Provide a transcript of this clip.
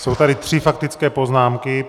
Jsou tady tři faktické poznámky.